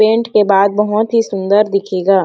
Paint के बाद बहुत ही सुंदर दिखेगा।